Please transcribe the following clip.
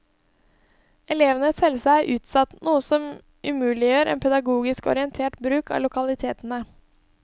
Elevenes helse er utsatt, noe som umuliggjør en pedagogisk orientert bruk av lokalitetene.